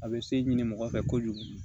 A bɛ se ɲini mɔgɔ fɛ kojugu